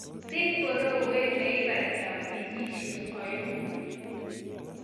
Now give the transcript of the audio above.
Tii borowet leibata wikisiek oeng'u.